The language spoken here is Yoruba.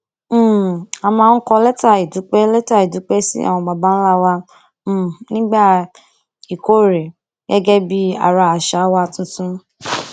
um a máa ń kọ létà ìdúpé létà ìdúpé sí àwọn baba ńlá wa um nígbà ìkórè gégé bí ara àṣà wa tuntun